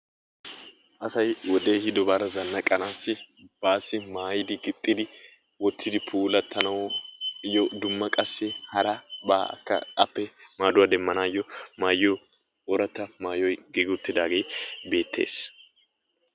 Asay wodee ehiidobaara zannaqaassi baassi maayidi gixxidi wottidi puulattanaayyo dumma qassi harabaakka appe maaduwa demmaayyo maayiyo ooratta maayoy giigi uttidaagee beettees